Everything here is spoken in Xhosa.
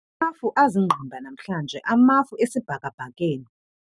Amafu aziingqimba namhlanje amafu esibhakabhakeni